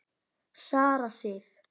Sara Sif.